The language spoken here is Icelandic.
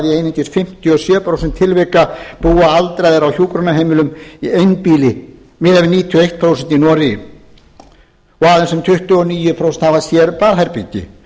einungis fimmtíu og sjö prósent tilvika búa aldraðir á hjúkrunarheimilum á einbýli miðað við níutíu og eitt prósent í noregi og aðeins um tuttugu og níu prósent hafa sér baðherbergi